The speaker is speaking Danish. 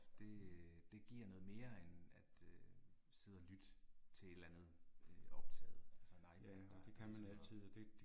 Det det giver noget mere end at øh sidde og lytte til et eller andet øh optaget altså nej det er bare altså